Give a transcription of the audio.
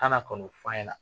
Ana ka n'o fɔ a ɲɛna